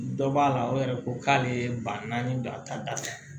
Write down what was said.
Dɔ b'a la o yɛrɛ ko k'ale ye ba naani don a ta da fɛ